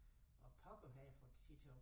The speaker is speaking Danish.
Hvordan pokker har jeg fået tid til at